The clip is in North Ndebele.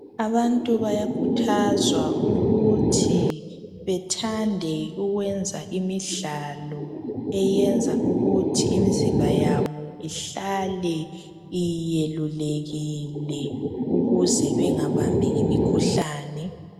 Abantu bayakhuthazwa ukuthi bethande ukwenza imidlalo eyenza ukuthi imizimba yabo ihlale iyelulekile ukuze bengabambi imikhuhlane.